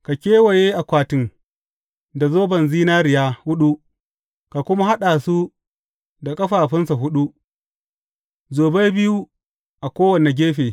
Ka kewaye akwatin da zoban zinariya huɗu ka kuma haɗa su da ƙafafunsa huɗu, zobai biyu a kowane gefe.